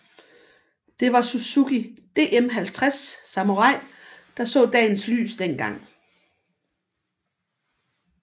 Det var Suzuki DM50 Samurai der så dagens lys dengang